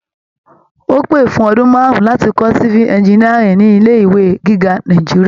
Ó pè fún ọdún marun láti kọ́ civil engineering ní ilé ìwé gíga Nàìjíríà.